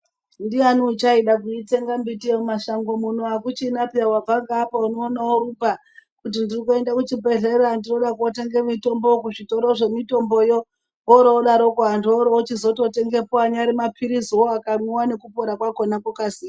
Ndiani uchaida kuitsenga miti yemumashango muno akuchina peya wabvangeapa unoona orumba kuti ndiri kuenda kuchibhehleya ndinoda kootenge mutombo kuzvitoro zvemitomboyo woroodaroko anhu oroo ochizototengapo anyari mapilizi wo akamwiwa nekupora kwakona kwokasira.